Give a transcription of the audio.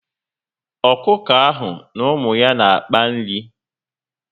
Ọkụkọ ahụ na ụmụ ya n'akpa nri